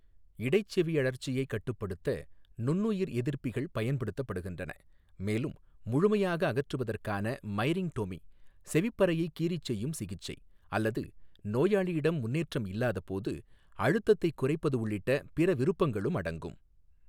இடைச்செவியழற்சியைக் கட்டுப்படுத்த நுண்ணுயிர் எதிர்ப்பிகள் பயன்படுத்தப்படுகின்றன, மேலும் முழுமையாக அகற்றுவதற்கான மைரிங்டோமி செவிப்பறையைக் கீறி செய்யும் சிகிச்சை, அல்லது நோயாளியிடம் முன்னேற்றம் இல்லாதபோது அழுத்தத்தைக் குறைப்பது உள்ளிட்ட பிற விருப்பங்களும் அடங்கும்.